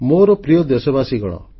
ମୋର ପ୍ରିୟ ଦେଶବାସୀଗଣ